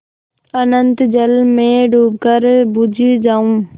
अनंत जल में डूबकर बुझ जाऊँ